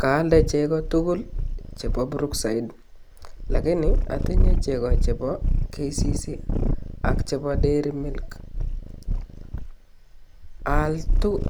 Kaalde cheko tukul chebo brookside lakini otinyee cheko chebo KCC ak chebo dairy milk aal